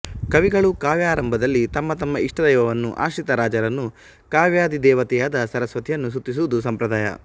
ಕವಿಗಳು ಕಾವ್ಯಾರಂಭದಲ್ಲಿ ತಮ್ಮ ತಮ್ಮ ಇಷ್ಟದೈವವನ್ನು ಆಶ್ರಿತ ರಾಜರನ್ನು ಕಾವ್ಯಾಧಿದೇವತೆಯಾದ ಸರಸ್ವತಿಯನ್ನು ಸ್ತುತಿಸುವುದು ಸಂಪ್ರದಾಯ